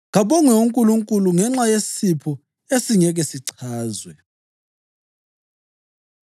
Kabongwe uNkulunkulu ngenxa yesipho esingeke sichazwe.